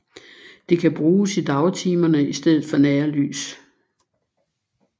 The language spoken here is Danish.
Det kan bruges i dagtimerne i stedet for nærlys